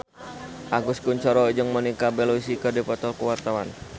Agus Kuncoro jeung Monica Belluci keur dipoto ku wartawan